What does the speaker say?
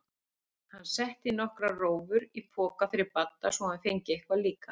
Hann setti nokkrar rófur í poka fyrir Badda svo hann fengi eitthvað líka.